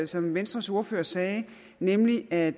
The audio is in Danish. som venstres ordfører sagde nemlig at